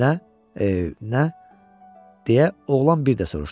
Nə, e, nə deyə oğlan bir də soruşdu.